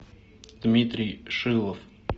дмитрий шилов